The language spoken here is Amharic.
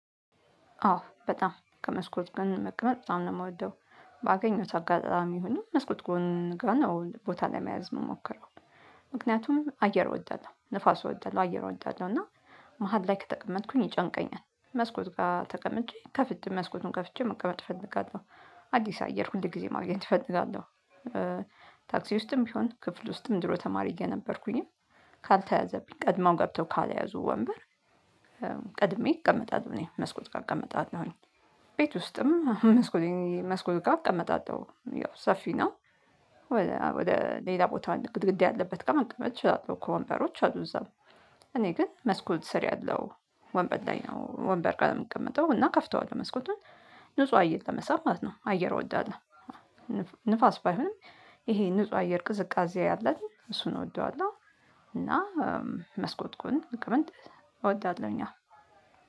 አዎ በጣም ከመስኮት ጎን መቀመጥ በጣም ነው የምወደው ባገኘውት አጋጣሚ ይሁን መስኮት ጎን ነው ቦታ ለመያዝ የምሞከረው። ምክንያቱም አየር እወዳለሁ፣ ንፋስ እወዳለሁ። አየር እወዳለሁ እና መሃል ላይ ከተቀመጥኩኝ ይጨንቀኛል። መስኮት ጋር ተቀምጬ ከፍቼ መስኮቱን ከፍቼ መቀመጥ እፈልጋለሁ። አዲስ አየር ሁል ጊዜ ማግኘት እፈልጋለሁ። ታክሲ ውስጥም ቢሆን ክፍል ውስጥም ድሮ ተማሪ እየነበርኩኝም ካልተያዘብኝ ቀድመው ገብተው ካልያዙ ወንበር ቀድሜ እቀመጣል። እኔ መስኮት ጋር እቀመጣለውኝ። ቤት ውስጥም መስኮት መስኮት ጋር እቀመጣለሁኝ ያው ሰፊ ነው። ወደ ሌላ ቦታውን ግድግድ ያለበት ጋም ልቀመጥ እችላለሁ። ከወንበሮች አሉ እዛም እኔ ግን መስኮት ስር ያለው ወንበር ላይ ነው ወንበር ጋር የምቀመጠው እና ከፍተዋለሁ መስኮቱን ንጹህ አየር ለመሳብ ማለት ነው። አየር እወዳለሁ። ንፋስ ባይሆንም ይሄ ንጹህ አየር ቅዝቃዜ ያለው እሱን እወደዋለሁ እና መስኮት ጎን መቀመጥ እወዳለሁኝ።